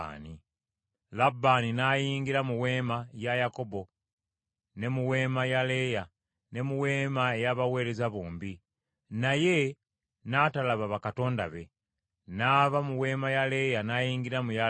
Labbaani n’ayingira mu weema ya Yakobo ne mu weema ya Leeya, ne mu weema ey’abaweereza bombi; naye n’atalaba bakatonda be. N’ava mu weema ya Leeya, n’ayingira mu ya Laakeeri.